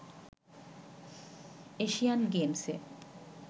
Asian গেমসে